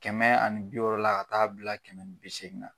Kɛmɛ ani bi wɔɔrɔ la ka taa bila kɛmɛ ni bi segin na